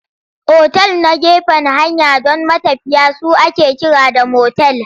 Otal na gefen hanya don matafiya su ake kira da motel.